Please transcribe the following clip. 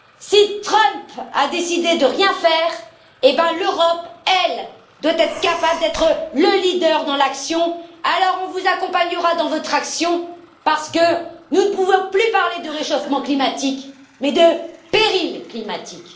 Si Trump a décidé de ne rien faire, eh bien l'Europe, elle, doit être capable d'être le leader dans l'action, alors on vous accompagnera dans votre action, parce que nous ne pouvons plus parler du réchauffement climatique, mais de péril climatique.